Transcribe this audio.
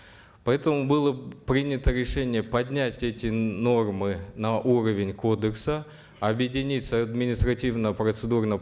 поэтому было принято решение поднять эти нормы на уровень кодекса объединить с административно процедурным